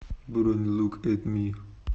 бронь лук эт ми